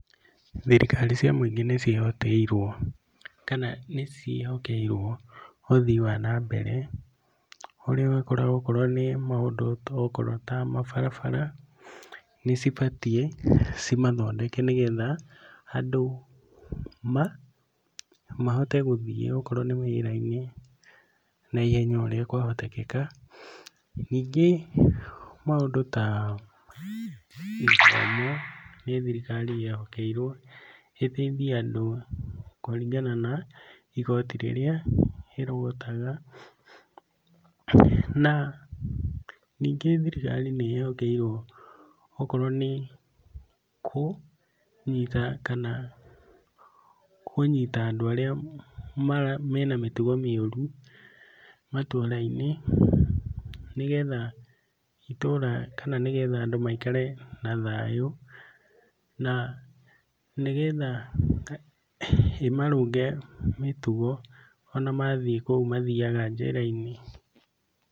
Thirikari cia mũingĩ nĩ ciĩhokeirwo, kana nĩ ciĩhokeirwo ũthii wa na mbere, ũrĩa ũkoraga akorwo nĩ maũndũ okorwo ta mabarabara nĩ cibatiĩ, cimathondeke nĩgetha, andũ mahote gũthiĩ okorwo nĩ wĩra-inĩ na ihenya o ũrĩa kwahotekeka. Ningĩ maũndũ ta gĩthomo nĩ thirikari ĩhokeirwo, ĩteithie andũ kũringana na igoti rĩrĩa ĩrogotaga, na ningĩ thirikari nĩ ĩhokeirwo okorwo nĩ kũnyita kana kũnyita andũ arĩa mena mĩtugo mĩũru, matũũra-inĩ, nĩgetha itũũra kana nĩgetha andũ maikare na thayũ, na nĩgetha ĩmarũnge mĩtugo ona mathiĩ kũu mathiaga njera-inĩ.